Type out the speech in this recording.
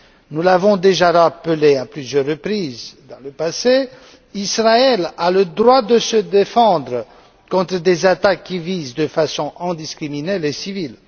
Nous l'avons déjà rappelé à plusieurs reprises dans le passé, Israël a le droit de se défendre contre des attaques qui visent de façon indiscriminée les civils.